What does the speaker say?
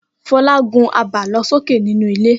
Fọlá gun àbálọsókè nínú ilé.